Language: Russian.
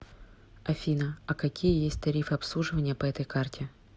афина а какие есть тарифы обслуживания по этой карте